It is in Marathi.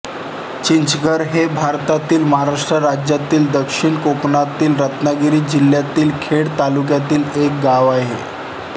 चिंचघर हे भारतातील महाराष्ट्र राज्यातील दक्षिण कोकणातील रत्नागिरी जिल्ह्यातील खेड तालुक्यातील एक गाव आहे